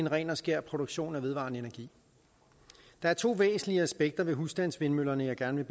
ren og skær produktion af vedvarende energi der er to væsentlige aspekter ved husstandsvindmøllerne jeg gerne